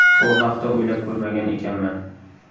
Bu haqda o‘ylab ko‘rmagan ekanman.